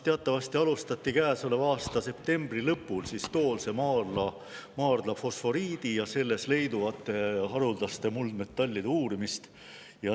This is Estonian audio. Teatavasti alustati käesoleva aasta septembri lõpul Toolse maardla fosforiidi ja selles leiduvate haruldaste muldmetallide uurimist.